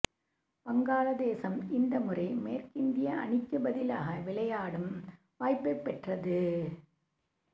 வங்காளதேசம் இந்த முறை மேற்கிந்திய அணிக்குப் பதிலாக விளையாடும் வாய்ப்பைப் பெற்றது